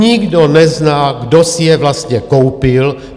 Nikdo nezná, kdo si je vlastně koupil.